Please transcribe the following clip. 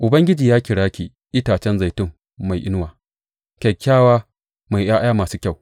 Ubangiji ya kira ki itacen zaitun mai inuwa kyakkyawa mai ’ya’ya masu kyau.